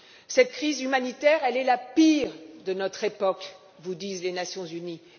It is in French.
Cette crise humanitaire est la pire de notre époque, comme vous le disent les Nations unies.